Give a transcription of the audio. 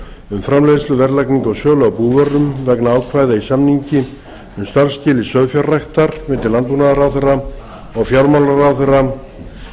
um framleiðslu verðlagningu og sölu á búvörum vegna ákvæða í samningi um starfsskilyrði sauðfjárræktar milli landbúnaðarráðherra og fjármálaráðherra fyrir